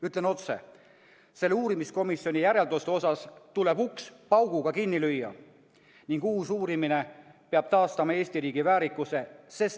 Ütlen otse: selle uurimiskomisjoni järelduste osas tuleb uks pauguga kinni lüüa ning uus uurimine peab taastama Eesti riigi väärikuse.